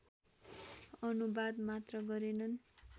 अनुवाद मात्र गरेनन्